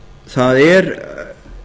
það er